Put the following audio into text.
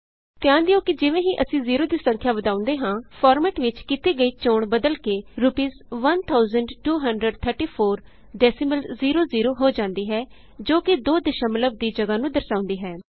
ਧਿਆਨ ਦਿਉ ਕਿ ਜਿਵੇਂ ਹੀ ਅਸੀਂ ਜ਼ੀਰੋ ਦੀ ਸੰਖਿਆ ਵਧਾਉਂਦੇ ਹਾਂ ਫਾਰਮੈਟ ਵਿਚ ਕੀਤੀ ਗਈ ਚੋਣ ਬਦਲ ਕੇ ਰੂਪੀਸ 1234 ਡੈਸੀਮਲ ਜ਼ੇਰੋ ਜ਼ੇਰੋ ਹੋ ਜਾਦੀ ਹੈ ਜੋ ਕਿ ਦੋ ਦਸ਼ਮਲਵ ਦੀ ਜਗਾਹ ਨੂੰ ਦਰਸਾਉਂਦੀ ਹੈ